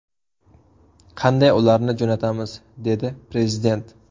Qanday ularni jo‘natamiz?”, dedi Prezident.